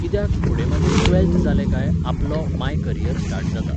कित्याक, फुडें मागीर ट्वॅल्फ्थ जालें काय, आपलो, माय करियर स्टार्ट जाता.